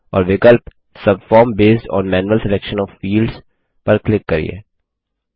और विकल्प subform based on manual selection of fields पर क्लिक करिये